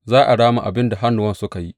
Za a rama abin da hannuwansu suka yi.